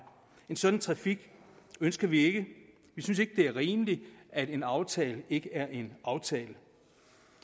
en sådan trafik ønsker vi ikke vi synes ikke det er rimeligt at en aftale ikke er en aftale